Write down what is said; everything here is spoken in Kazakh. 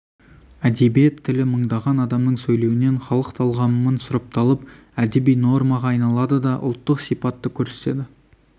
әдебиет тілі мыңдаған адамның сөйлеуінен халық талғамымын сұрыпталып әдеби нормаға айналады да ұлттық сипатты көрсетеді